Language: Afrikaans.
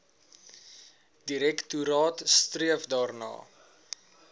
direktoraat streef daarna